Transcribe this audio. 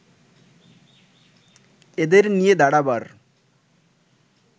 এদের নিয়ে দাঁড়াবার